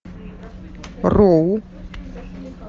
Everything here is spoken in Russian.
роу